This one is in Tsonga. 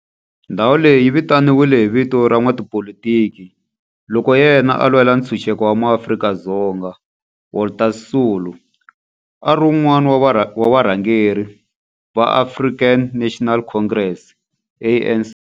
Ndhawo leyi yi vitaniwa hi vito ra n'watipolitiki loyi na yena a lwela ntshuxeko wa maAfrika-Dzonga Walter Sisulu, a ri wun'wana wa varhangeri va African National Congress, ANC.